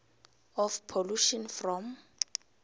of pollution from